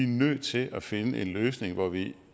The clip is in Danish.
nødt til at finde en løsning hvor vi